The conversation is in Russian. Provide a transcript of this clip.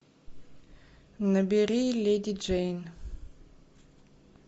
набери леди джейн